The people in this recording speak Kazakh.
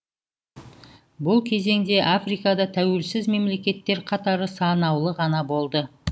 бұл кезеңде африкада тәуелсіз мемлекттер қатары санаулы ғана болды